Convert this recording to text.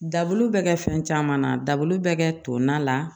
Dabulu bɛ kɛ fɛn caman na daburu bɛ kɛ to na la